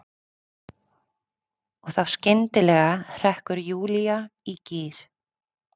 Og þá skyndilega hrekkur Júlía í gír.